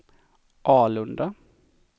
Alunda